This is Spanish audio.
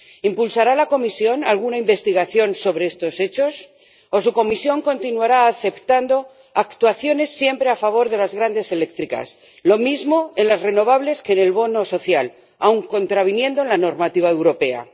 ¿Impulsará la Comisión alguna investigación sobre estos hechos o su Comisión continuará aceptando actuaciones siempre a favor de las grandes eléctricas, lo mismo en las renovables que en el bono social, aun contraviniendo la normativa europea?